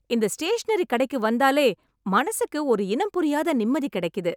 இந்த ஸ்டேஷனரிக் கடைக்கு வந்தாலே மனசுக்கு ஒரு இனம் புரியாத நிம்மதி கிடைக்குது.